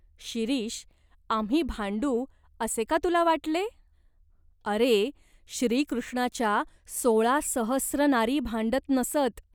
"शिरीष, आम्ही भांडू असे का तुला वाटले ? अरे, श्रीकृष्णाच्या सोळा सहस्र नारी भांडत नसत.